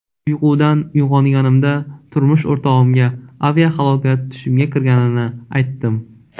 Uyqudan uyg‘onganimda turmush o‘rtog‘imga aviahalokat tushimga kirganini aytdim.